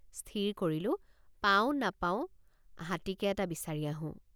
স্থিৰ কৰিলোঁ পাওঁ নাপাওঁ হাতীকে এটা বিচাৰি আহোঁ।